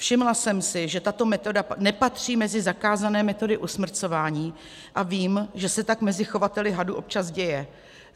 Všimla jsem si, že tato metoda nepatří mezi zakázané metody usmrcování, a vím, že se tak mezi chovateli hadů občas děje.